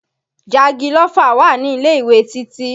Jagilófà wà ní ilé-ìwé Títí